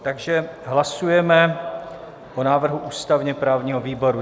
Takže hlasujeme o návrhu ústavně-právního výboru.